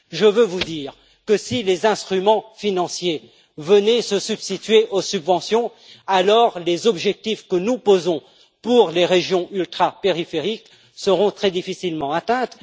Je veux vous dire que, si les instruments financiers venaient se substituer aux subventions, les objectifs que nous posons pour les régions ultrapériphériques seront alors très difficilement atteints.